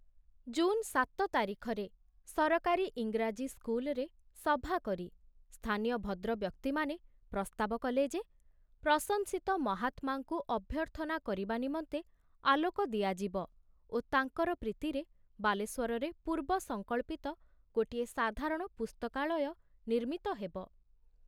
ଜୁନ ସାତ ତାରିଖରେ ସରକାରୀ ଇଂରାଜୀ ସ୍କୁଲରେ ସଭାକରି ସ୍ଥାନୀୟ ଭଦ୍ରବ୍ୟକ୍ତିମାନେ ପ୍ରସ୍ତାବ କଲେ ଯେ ପ୍ରଶଂସିତ ମହାତ୍ମାଙ୍କୁ ଅଭ୍ୟର୍ଥନା କରିବା ନିମନ୍ତେ ଆଲୋକ ଦିଆଯିବ ଓ ତାଙ୍କର ପ୍ରୀତିରେ ବାଲେଶ୍ବରରେ ପୂର୍ବ ସଂକଳ୍ପିତ ଗୋଟିଏ ସାଧାରଣ ପୁସ୍ତକାଳୟ ନିର୍ମିତ ହେବ।